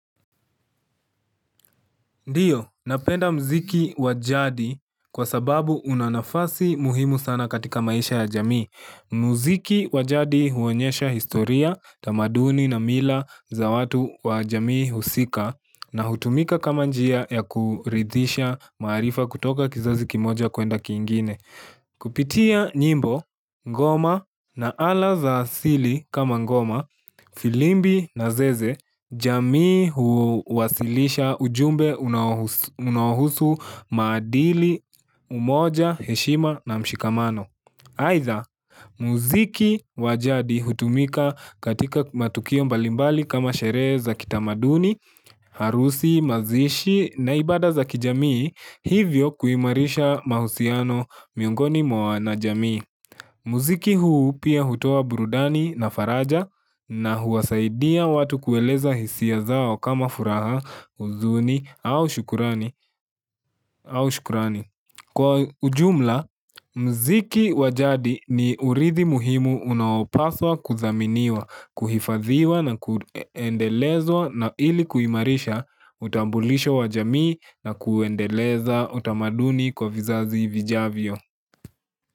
Ndiyo, napenda mziki wa jadi kwa sababu una nafasi muhimu sana katika maisha ya jamii. Mziki wa jadi huonyesha historia, tamaduni na mila za watu wa jamii husika na hutumika kama njia ya kuridhisha marifa kutoka kizazi kimoja kuenda kiingine. Kupitia nyimbo, ngoma na ala za asili kama ngoma, filimbi na zeze, jamii huuwasilisha ujumbe unaohusu maadili umoja heshima na mshikamano Aidha, muziki wa jadi hutumika katika matukio mbalimbali kama sherehe za kitamaduni, harusi, mazishi na ibada za kijamii hivyo kuimarisha mahusiano miongoni mwa wana jamii Muziki huu pia hutoa burudani na faraja na huwasaidia watu kueleza hisia zao kama furaha huzuni au shukurani. Kwa ujumla, mziki wa jadi ni urithi muhimu unaopaswa kudhaminiwa, kuhifadhiwa na kuendelezwa na ili kuimarisha, utambulisho wa jamii na kuuendeleza utamaduni kwa vizazi vijavyo.